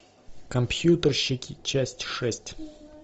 компьютерщики часть шесть